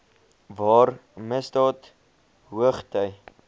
waar misdaad hoogty